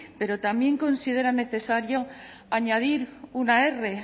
pero también considera necesario añadir una erre